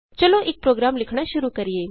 ਚਲੋ ਇਕ ਪ੍ਰੋਗਰਾਮ ਲਿਖਣਾ ਸ਼ੁਰੂ ਕਰੀਏ